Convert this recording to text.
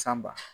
San ba